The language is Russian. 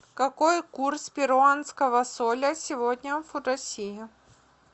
какой курс перуанского соля сегодня в россии